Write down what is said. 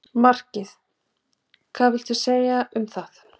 Markið hvað viltu segja um það?